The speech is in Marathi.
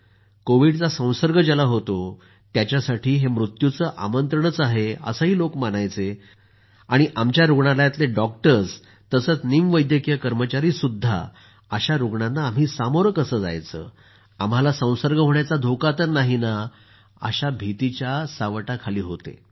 कोविडचां संसर्ग ज्याला होतो त्याच्यासाठी हे मृत्युचं आमंत्रणच आहे असं लोक मानायचे आणि आमच्या रूग्णालयातले डॉक्टर आणि निम वैद्यकीय कर्मचार्यांमध्येही अशा रूग्णांना आम्ही सामोरं कसं जायचं आम्हाला संसर्ग होण्याचा धोका तर नाहि अशी दहशत होती